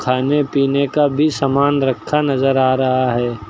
खाने पीने का भी सामान रखा नजर आ रहा है।